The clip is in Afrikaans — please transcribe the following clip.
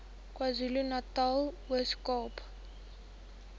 kwazulunatal ooskaap